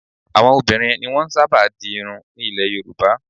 Àwọn obìnrin ni wọ́n máa ń sábà di irun ní ilẹ̀ Yorùbá